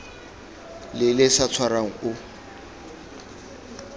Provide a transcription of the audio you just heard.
le le sa tshwarang o